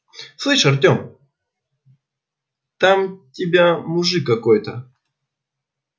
слышь артем там тебя мужик какой-то